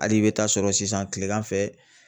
Hali i bɛ taa sɔrɔ sisan tilegan fɛ